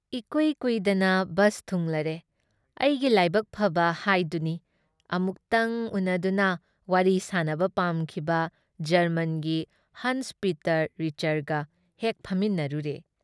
ꯏꯀꯨꯏ ꯀꯨꯏꯗꯅ ꯕꯁ ꯊꯨꯡꯂꯔꯦ꯫ ꯑꯩꯒꯤ ꯂꯥꯏꯕꯛ ꯐꯕ ꯍꯥꯏꯗꯨꯅꯤ ꯑꯃꯨꯛꯇꯪ ꯎꯅꯗꯨꯅ ꯋꯥꯔꯤ ꯁꯥꯅꯕ ꯄꯥꯝꯈꯤꯕ ꯖꯔꯃꯟꯒꯤ ꯍꯟꯁ ꯄꯤꯇꯔ ꯔꯤꯆꯔꯒ ꯍꯦꯛ ꯐꯝꯃꯤꯟꯅꯔꯨꯔꯦ ꯫